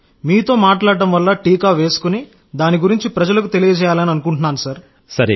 మీతో మాట్లాడటం వల్ల టీకా వేసుకుని దాని గురించి ప్రజలకు తెలియజేయాలని అనుకుంటున్నాను సార్